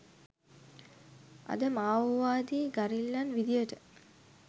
අද මාඕවාදී ගරිල්ලන් විදියට